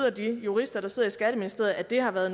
og de jurister der sidder i skatteministeriet at det har været